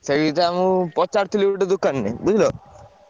ସେଇଟା ମୁଁ ପଚାରୁଥିଲି ଗୋଟେ ଦୋକାନକୁ ବୁଝିଲ।